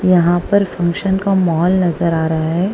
यहां पर फंक्शन का माहौल नजर आ रहा हैं।